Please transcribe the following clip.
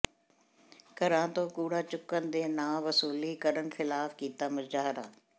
ਘਰਾਂ ਤੋਂ ਕੂੜਾ ਚੁੱਕਣ ਦੇ ਨਾਂਅ ਵਸੂਲੀ ਕਰਨ ਿਖ਼ਲਾਫ਼ ਕੀਤਾ ਮੁਜ਼ਾਹਰਾ